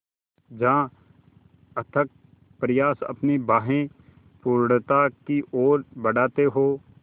जहाँ अथक प्रयास अपनी बाहें पूर्णता की ओर बढातें हो